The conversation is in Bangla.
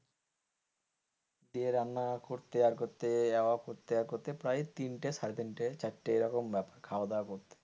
দিয়ে রান্না করতে আর করতে করতে প্রায় তিনটে সাড়ে তিনটে চারটে এইরকম খাওয়া দাওয়া করতে,